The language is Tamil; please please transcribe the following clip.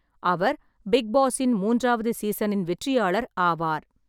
அவர் பிக் பாஸின் மூன்றாவது சீசனின் வெற்றியாளர் ஆவார்.